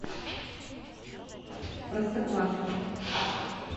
простоквашино